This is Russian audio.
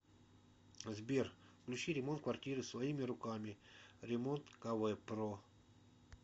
сбер включи ремонт квартиры своими руками ремонткв про